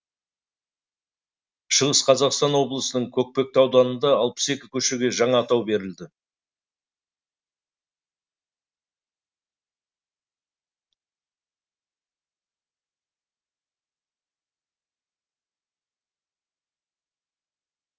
шығыс қазақстан облысының көкпекті ауданында алпыс екі көшеге жаңа атау берілді